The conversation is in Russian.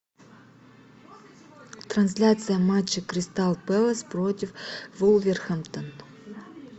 трансляция матча кристал пэлас против вулверхэмптон